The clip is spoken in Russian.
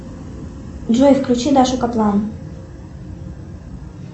джой включи дашу каплан